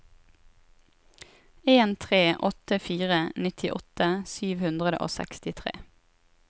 en tre åtte fire nittiåtte sju hundre og sekstitre